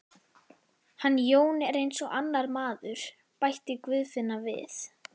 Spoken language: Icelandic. Hann Jón er eins og annar maður, bætti Guðfinna við.